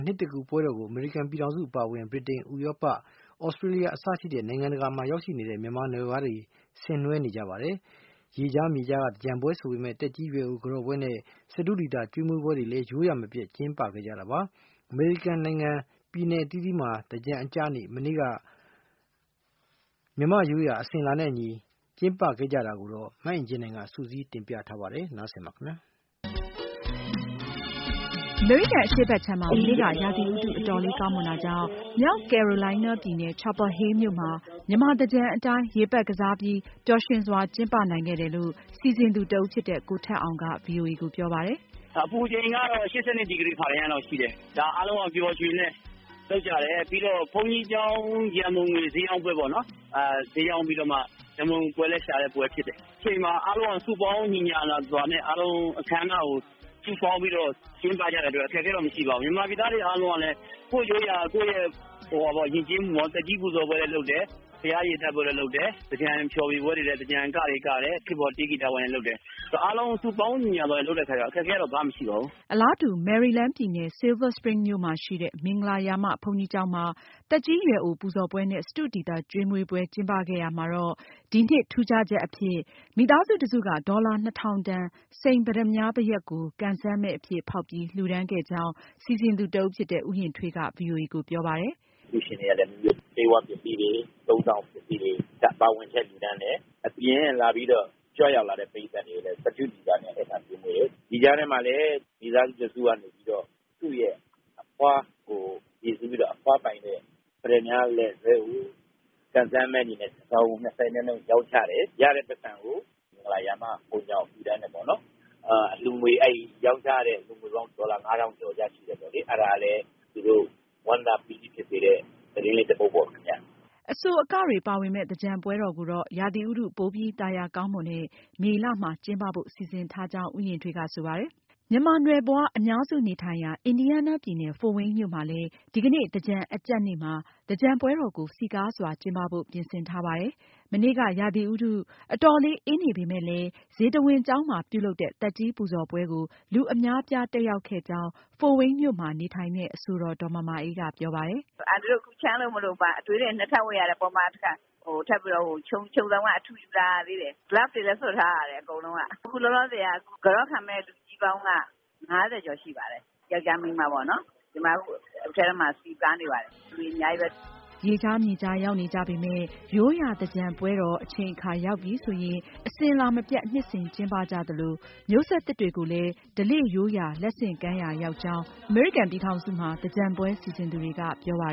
နှစ်သစ်ကူးပွဲတော်ကို အမေရိကန်ပြည်ထောင်စုအပါအဝင် ဗြိတိန်၊ ဥရောပ၊ သြစတြေးလျ စတဲ့ နိုင်ငံတကာရောက်ရှိနေတဲ့ မြန်မာနွယ်ဖွားတွေလည်း ဆင်နွဲနေကြပါတယ်။ ရေခြား မြေခြားက သင်္ကြန်ပွဲ ဆိုပေမယ့် သက်ကြီးရွယ်အို ကန်တော့ပွဲနဲ့ စတုဒီသာကျွေးမွေးပွဲတွေလည်း ရိုးရာမပျက် ကျင်းပခဲ့ကြတာပါ။ အမေရိကန်နိုင်ငံ ပြည်နယ်အသီးသီးမှာ သင်္ကြန်အကျနေ့ မနေ့က မြန်မာ့ရိုးရာ အစဉ်အလာနဲ့ အညီ ကျင်းပခဲ့တာတွေကိုတော့ မအင်ကြင်းနိုင်က စုစည်းတင်ပြထားပါတယ်။ အမေရိကန်အရှေ့ဘက်ခြမ်းမှာ မနေ့က ရာသီဥတု အတော်လေးကောင်းမွန်တာကြောင့် မြောက်ကယ်ရိုလိုင်းနားပြည်နယ် ချာပါလ်ဟေးမြို့မှာ မြန်မာသင်္ကြန်အတိုင်း ရေပက်ကစားပြီး ပျော်ရွှင်စွာကျင်းပနိုင်ခဲ့တယ်လို့ စီစဉ်သူတဦးဖြစ်တဲ့ ကိုထက်အောင်က ပြောပါတယ်။ " အပူချိန်ကတော့ ၈၂ ဒီဂရီ ဖာရင်ဟိုက်လောက်ရှိတယ်။ အားလုံးက ပျော်ပျော်ရွှင်ရွှင်နဲ့ လုပ်ကြတယ်။ နောက် ဘုန်းကြီးကျောင်း ရံပုံငွေ ဈေးရောင်းပွဲပေါ့နော်။ အားလုံး စုပေါင်းညီညာစွာနဲ့ ကျင်းပကြတာပါ။ မြန်မာပြည်သားအားလုံးကလည်း ကိုယ့်ယဉ်ကျေးမှုအရရော နောက် သက်ကြီးပူဇော်ပွဲလည်း လုပ်တယ်၊ ဘုရားရေသပ္ပာယ်ကြည်ညိုကြတယ်။ သင်္ကြန် ဖျော်ဖြေပွဲ၊ သီဆိုပွဲတွေလည်း လုပ်တယ်။ အားလုံးစုပေါင်းလုပ်တဲ့အတွက် အခက်အခဲမရှိပါဘူး။ " အလားတူ မယ်ရီလန်းပြည်နယ်၊ Silver Spring မြို့မှာရှိတဲ့ မင်္ဂလာရာမ ဘုန်းကြီးကျောင်းမှာ သက်ကြီးရွယ်အို ပူဇော်ပွဲနဲ့ စတုဒီသာ ကျွေွးမွေးပွဲ ကျင်းပခဲ့ရာမှာ ဒီနှစ် ထူးခြားချက်အဖြစ် မိသားစုတစုက ဒေါ်လာ ၂၀၀၀ တန် စိန် ပတ္တမြား ဘယက်ကို ကံစမ်းမဲအဖြစ် ဖောက်ပြီး လှူဒါန်းခဲ့ကြောင်း စီစဉ်သူ တဦးဖြစ်တဲ့ ဦးယဉ်ထွေးက ဗွီအိုအေကို ပြောပါတယ်။ "အလှုရှင်တွေကလည်း ဆေးဝါးပစ္စည်းတွေ၊ အသုံးအဆောင်ပစ္စည်းတွေ ပါဝင်လှုဒါန်းတဲ့အပြင် ကြွရောက်လာတဲ့ လူထုပရိတ်သတ်ကိုလည်း စတုဒီသာနဲ့ ကျွေးမွေးတယ်။ ဒီကြားထဲမှာလည်း မိသားစုတစုကနေပြီးတော့ သူ့ရဲ့ အဖွားကိုရည်စူးပြီးတော့ အဖွားပိုင်တဲ့ ပတ္တမြားလည်ဆွဲကို ကံစမ်းမဲအနေနဲ့ တစောင်ကို ဒေါ်လာ ၂၀ နှုန်းနဲ့ ရောင်းချတယ်။ ရတဲ့ ပိုက်ဆံကို မင်္ဂလာရာမ ဘုန်းကြီးကျောင်းကိုလှုဒါန်းတယ်ပေါ့နော်။ အဲဒီကနေ ရောင်းချလို့ရတဲ့ ဒေါ်လာငွေပေါင်း ၅ထောင်ကျော်ရှိတဲ့အတွက် ပေါ့လေ။ အဲတာကလည်း သူတို့ကို ဝမ်းသာပီတိဖြစ်စေတဲ့ သတင်းလေးတပုဒ်ပေါ့ခင်ဗျ " အဆို၊ အကတွေပါဝင်မယ့် သင်္ကြန်ပွဲတော်ကိုတော့ ရာသီဥတု ပိုပြီးသာယာကောင်းမွန်တဲ့ မေလမှာ ကျင်းပဖို့ စီစဉ်ထားကြောင်း ဦးယဉ်ထွေးက ဆိုပါတယ်။ မြန်မာနွယ်ဖွား အများစုနေထိုင်ရာ အင်ဒီယားနားပြည်နယ် ဖို့ဒ်ဝိန်းမြို့မှာလည်း ဒီကနေ့ သင်္ကြန်အကြပ်နေ့မှာ သင်္ကြန်ပွဲတော်ကို စည်းကားစွာကျင်းပဖို့ ပြင်ဆင်ထားပါတယ်။ မနေ့က ရာသီဥတု အတော်လေး အေးနေပေမယ့်လည်း ဇေတဝန်ကျောင်းမှာပြုလုပ်တဲ့ သက်ကြီးပူဇော်ပွဲကို လူအများအပြား တက်ရောက်ခဲ့ကြောင်း ဖိုဒ်ဝိန်းမြို့မှာ နေထိုင်တဲ့ အဆိုတော် ဒေါ်မာမာအေးက ပြောပါတယ်။ "အန်တီတို့ ချမ်းလို့ ခု အနွေးထည် နှစ်ထပ်ဝတ်ထားရတယ်။ အပေါ်မှာ တခါ ထပ်ပြီးတော့ ခြုံစောင်က အထူယူလာရသေးတယ်။ လက်အိတ်တွေလည်း စွပ်ထားရသေးတယ်။ အကုန်လုံးက။ အခု ကန်တော့ခံမယ့် လူကြီးပေါင်းက ၅၀ ကျော်ရှိပါတယ်။ ယောင်္ကျား၊ မိန်းမပေါ့နော်။ အခုအထဲမှာ စည်းကားနေပါတယ်။လူတွေ အများကြီးပဲ " ရေခြား၊ မြေခြားရောက်နေကြပေမယ့် ရိုးရာသင်္ကြန်ပွဲတော်အချိန်အခါရောက်ပြီဆိုရင် အစဉ်အလာမပြတ် နှစ်စဉ်ကျင်းပကြသလို မျိုးဆက်သစ်တွေကိုလည်း ဓလေ့ရိုးရာလက်ဆင့်ကမ်းရာလည်း ရောက်ကြောင်း သင်္ကြန်ပွဲ စီစဉ်သူတွေက ပြောကြပါ